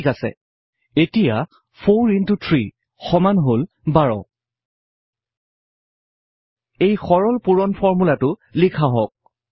ঠিক আছে এতিয়া 4 x 3 সমান হল 12ৰ এই সৰল পূৰণৰ ফৰ্মূলাটো লিখা হওঁক